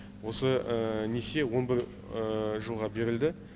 осы несие он бір жылға берілді